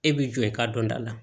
E b'i jɔ i ka dɔnta la